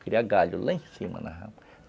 Cria galho lá em cima na rama.